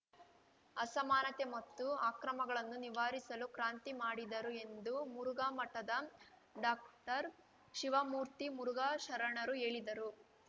ಅಸಮಾನತೆ ಮತ್ತು ಅಕ್ರಮಗಳನ್ನು ನಿವಾರಿಸಲು ಕ್ರಾಂತಿ ಮಾಡಿದರು ಎಂದು ಮುರುಘಾಮಠದ ಡಾಕ್ಟರ್ಶಿವಮೂರ್ತಿ ಮುರುಘಾ ಶರಣರು ಹೇಳಿದರು